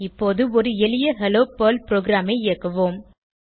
இப்போது ஒரு எளிய ஹெல்லோ பெர்ல் ப்ரோகிராமை இயக்குவோம்